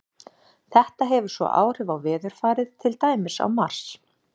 Þetta hefur svo áhrif á veðurfarið, til dæmis á Mars.